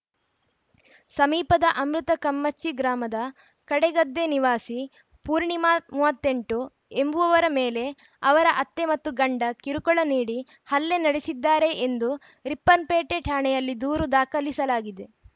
ಸಮೀಪದ ಅಮೃತ ಕಮ್ಮಚ್ಚಿ ಗ್ರಾಮದ ಕಡೆಗದ್ದೆ ನಿವಾಸಿ ಪೂರ್ಣಿಮಾ ಮೂವತ್ತ್ ಎಂಟು ಎಂಬುವವರ ಮೇಲೆ ಅವರ ಅತ್ತೆ ಮತ್ತು ಗಂಡ ಕಿರುಕುಳ ನೀಡಿ ಹಲ್ಲೆ ನಡೆಸಿದ್ದಾರೆ ಎಂದು ರಿಪ್ಪನ್‌ಪೇಟೆ ಠಾಣೆಯಲ್ಲಿ ದೂರು ದಾಖಾಲಿಸಲಾಗಿದೆ